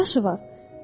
Neçə yaşı var?